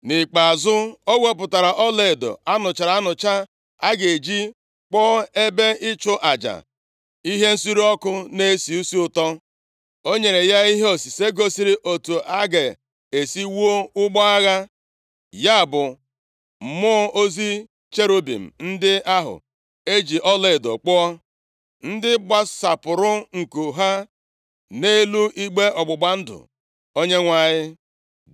Nʼikpeazụ, o wepụtara ọlaedo a nụchara anụcha a ga-eji kpụọ ebe ịchụ aja ihe nsure ọkụ na-esi isi ụtọ. O nyere ya ihe osise gosiri otu a ga-esi wuo ụgbọ agha, ya bụ, mmụọ ozi cherubim ndị ahụ e ji ọlaedo kpụọ, ndị gbasapụrụ nku ha nʼelu igbe ọgbụgba ndụ Onyenwe anyị.